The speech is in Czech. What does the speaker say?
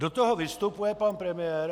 Do toho vystupuje pan premiér.